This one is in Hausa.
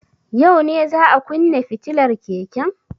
Yau ne za a kunne fitilar keken.